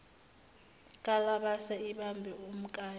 kalabase ibambe umkayo